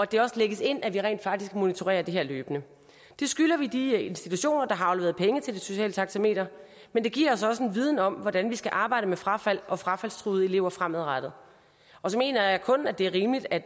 det også lægges ind at vi rent faktisk monitorerer det her løbende det skylder vi de institutioner der har afleveret penge til det sociale taxameter men det giver os også en viden om hvordan vi skal arbejde med frafald og frafaldstruede elever fremadrettet og så mener jeg kun det er rimeligt at